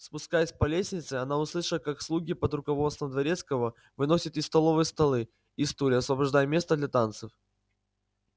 спускаясь по лестнице она услышала как слуги под руководством дворецкого выносят из столовой столы и стулья освобождая место для танцев